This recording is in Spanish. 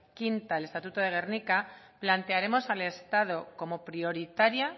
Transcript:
quinta del estatuto de gernika plantearemos al estado como prioritaria